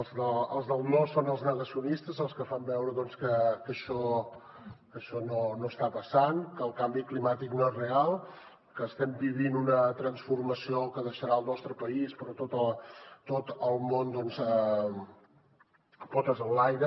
els del no són els negacionistes els que fan veure doncs que això no està passant que el canvi climàtic no és real que no estem vivint una transformació que deixarà el nostre país i tot el món potes enlaire